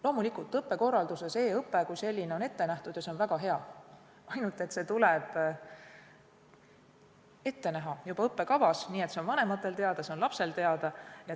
Loomulikult, õppekorralduses on e-õpe kui selline ette nähtud ja see on väga hea, ainult et see tuleb ette näha juba õppekavas, nii et see oleks vanematele teada ja see oleks lapsele teada.